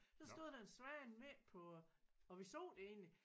Så stod der en svane midt på og vi så det egentlig